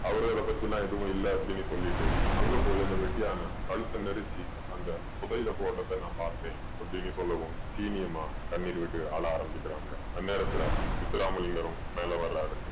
அவரு அதை பத்தியெல்லாம் எதுவும் இல்ல அப்படீன்னு சொல்லிட்டு அங்க போயி அந்த வெட்டியான கழுத்த நெரிச்சு அந்த புதையில போடறத நான் பாத்தேன் அப்படீன்னு சொல்லவும் சீனி அம்மா கண்ணீர் விட்டு அழ ஆரம்பிக்கிறாங்க. அந்நேரத்துல முத்துராமலிங்கனும் மேல வர்றாரு.